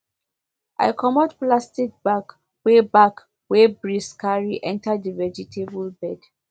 i comot plastic bag wey bag wey breeze carry enter the vegetable bed